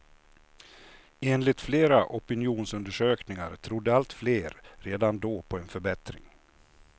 Enligt flera opinionsundersökningar trodde allt fler redan då på en förbättring.